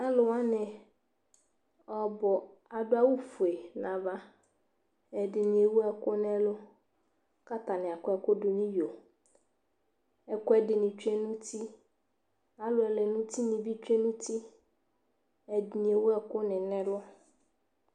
Alʋ wanɩ ɔbʋ adʋ awʋfue nʋ ava Ɛdɩnɩ ewu ɛkʋ nʋ ɛlʋ kʋ atanɩ akɔ ɛkʋ dʋ nʋ iyo Ɛkʋɛdɩnɩ tsue nʋ uti Alʋ ɛlɛnʋtinɩ bɩ tsue nʋ uti Ɛdɩnɩ ewu ɛkʋnɩ nʋ ɛlʋ